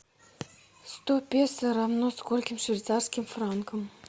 сто песо равно скольким швейцарским франкам